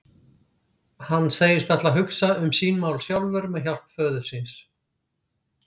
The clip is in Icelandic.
Hann segist ætla að hugsa um sín mál sjálfur með hjálp föður síns.